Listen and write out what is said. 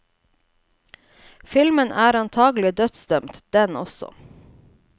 Filmen er antagelig dødsdømt, den også.